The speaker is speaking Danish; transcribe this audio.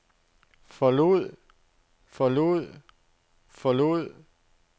forlod forlod forlod